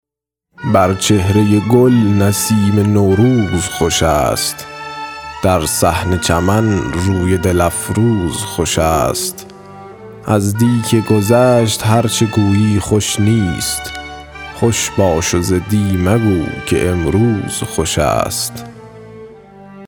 بر چهرۀ گل نسیم نوروز خوش است در صحن چمن روی دل افروز خوش است از دی که گذشت هر چه گویی خوش نیست خوش باش و ز دی مگو که امروز خوش است